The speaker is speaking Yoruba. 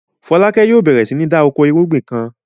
Fọlákẹ́ yóò bẹ̀rẹ̀ sí ní da oko ìrúgbìn kan.